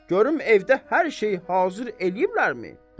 Görüm evdə hər şey hazır eləyiblərmi?